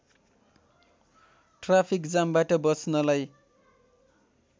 traffic जामबाट बच्नलाई